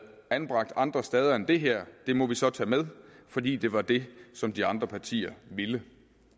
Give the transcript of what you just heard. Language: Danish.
anbragt andre steder end det her må vi så tage med fordi det var det som de andre partier ville